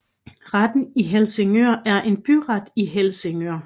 Retten i Helsingør er en byret i Helsingør